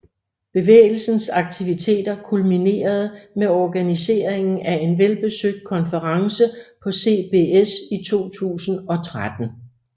Bevægelsens aktiviteter kulminerede med organiseringen af en velbesøgt konference på CBS i 2013